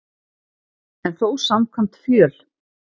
En þó samkvæmt fjöl